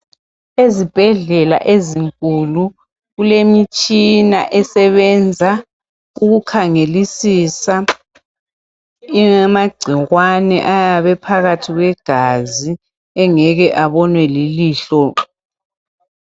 Ezibhedlela ezinkulu kulemitshina esebenza ukukhangelisisa amagcikwane ayabe ephakathi kwegazi engeke abonwe lilihlo.